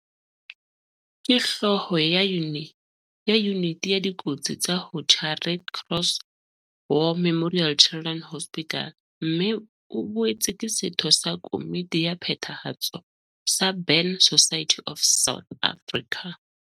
Ke Hlooho ya Yuniti ya Dikotsi tsa ho tjha Red Cross War Memorial Children's Hospital, RCWMCH, mme o boetse ke setho sa komiti ya phethahatso sa Burn Society of South Africa.